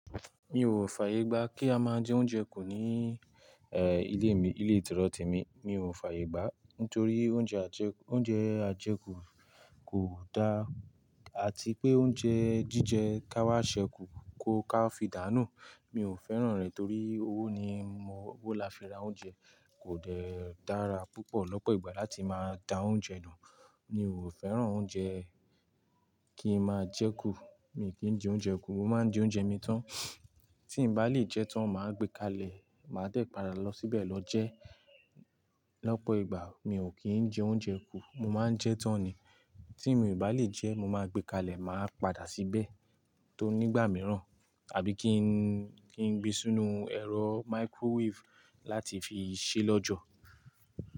Mi ò fààyè gbá kí a máa jẹ oúnjẹ kù ní, eh, ilé mi, ilé ìtírọ́tì mi. Mi ò fààyè gbá, nítorí oúnjẹ àjẹkù, oúnjẹ àjẹkù kò da àti pé oúnjẹ jíjẹ ká wá ṣẹ kú kò ká fi dàánù Mi ò fẹ́ràn rẹ̀ torí owó ni mo, owó la fi ra oúnjẹ. Kò dẹ dára púpọ̀ lọ́pọ̀ ìgbà láti máa da oúnjẹ nù. Mi ò fẹ́ràn oúnjẹ kí n máa jẹ kù, mi ò kí ń jẹ oúnjẹ kù, mo máa ń jẹ oúnjẹ mi tán. Tí mo bá lè jẹ tán, màá gbé kalẹ̀, màá dẹ̀ padà lọ síbẹ̀ lọ jẹ. Lọ́pọ̀ ìgbà mi ò kí ń jẹ oúnjẹ kú, mo máa ń jẹ tán ni. Tí mo bá lè jẹ, mo máa gbé kalẹ̀, màá padà síbẹ̀ tó nígbà mìíràn, àbí kí n, kí n gbin sínú ẹ̀rọ microwave láti fi ṣé lọ́jọ̀